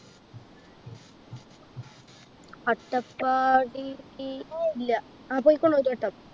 അട്ടപ്പാടി ഇല്ല ആ പോയിക്കുണു ഒരുവട്ടം